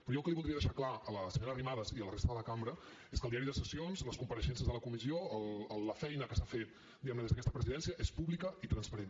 però jo el que li voldria deixar clar a la senyora arrimadas i a la resta de la cambra és que el diari de sessions les compareixences de la comissió la feina que s’ha fet diguem ne des d’aquesta presidència són públics i transparents